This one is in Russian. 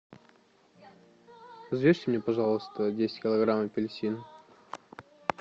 взвесьте мне пожалуйста десять килограмм аплеьсин